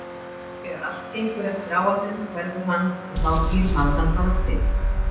Þegar allt gengur eftir áætlun hverfur hann og þá býr maður hann bara til.